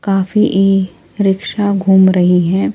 काफी e rickshaw घूम रही है।